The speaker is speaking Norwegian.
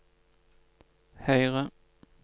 høyre